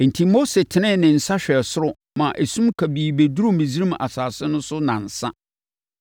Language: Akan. Enti, Mose tenee ne nsa hwɛɛ soro maa esum kabii bɛduruu Misraim asase no so nnansa.